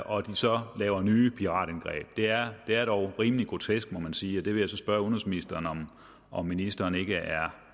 og så laver nye piratangreb det er er dog rimelig grotesk må man sige vil så spørge udenrigsministeren om om ministeren ikke er